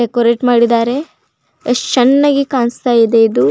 Decorate ಮಾಡಿದ್ದಾರೆ ಯೆಸ್ಟ್ ಚೆನ್ನಾಗಿ ಕಾಣಿಸ್ತಾ ಇದೆ ಇದು.